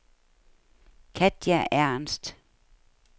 Katja Ernst